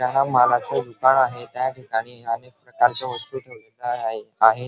किराणा मलाच दुकान आहे त्याठिकाणी अनेक प्रकारच्या वस्तु ठेवलेल्या आहेत आणि --